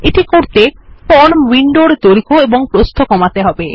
এটি করতে ফর্ম উইন্ডোর দৈর্ঘ্য এবং প্রস্থ কমাতে হবে